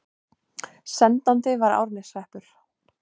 Sendandi var Árneshreppur.